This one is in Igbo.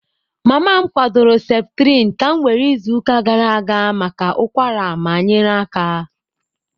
Mama m kwadoro Septrin ka m were izuụka gara aga maka ụkwara ma nyere aka.